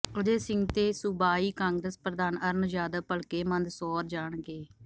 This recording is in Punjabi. ਅਜੈ ਸਿੰਘ ਤੇ ਸੂਬਾਈ ਕਾਂਗਰਸ ਪ੍ਰਧਾਨ ਅਰੁਣ ਯਾਦਵ ਭਲਕੇ ਮੰਦਸੌਰ ਜਾਣਗੇ